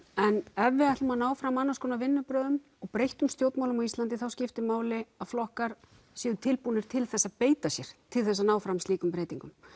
en ef við ætlum að ná fram annars konar vinnubrögðum og breyttum stjórnmálum á Íslandi þá skiptir máli að flokkar séu tilbúnir til þess að beita sér til þess að ná fram slíkum breytingum